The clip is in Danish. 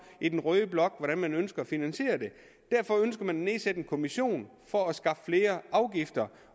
i den røde blok hvordan man ønsker at finansiere det derfor ønsker man at nedsætte en kommission for at skaffe flere afgifter